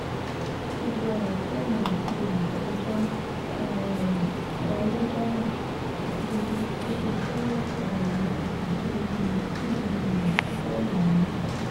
gbogbo ọ̀rọ̀ tèmi àti olùjẹ́jọ́ um sọ lọ́jọ́ náà àti gbogbo bó ṣe jẹ́wọ́ ẹ̀ṣẹ̀ ni mo kà sórí um fóònù mi